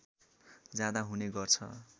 जाँदा हुने गर्छ